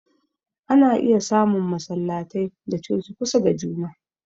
Ana iya samun masallatai da coci kusa da juna